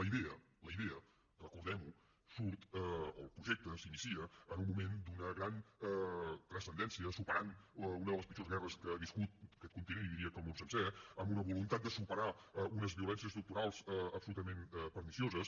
la idea la idea recordem ho surt o el projecte s’inicia en un moment d’una gran transcendència que supera una de les pitjors guerres que ha viscut aquest continent i diria que el món sencer amb una voluntat de superar unes violències estructurals absolutament pernicioses